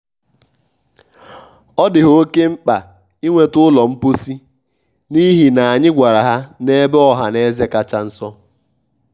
ọ dị ha óke mkpa ịnweta ụlọ mposi n'ihi ya anyị gwara ha n'ebe ọhaneze kacha nso.